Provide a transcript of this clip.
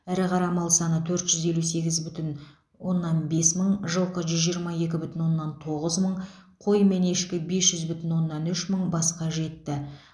ірі қара мал саны төрт жүз елу сегіз бүтін оннан бес мың жылқы жүз жиырма екі бүтін оннан тоғыз мың қой мен ешкі бес жүз бүтін оннан үш мың басқа жетті